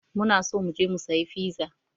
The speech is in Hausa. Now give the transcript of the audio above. Muna so mu je mu sayi fiza.